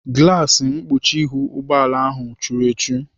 Glaasi mkpuchi ihu ụgbọala ahụ churu echu.